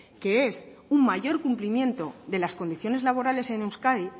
que es un mayor cumplimiento de las condiciones laborales en euskadi